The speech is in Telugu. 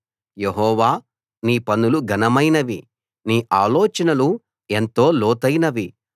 యెహోవా నీ పనులు ఘనమైనవి నీ ఆలోచనలు ఎంతో లోతైనవి